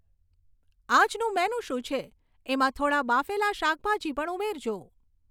આજનું મેનુ શું છે એમાં થોડાં બાફેલાં શાકભાજી પણ ઉમેરજો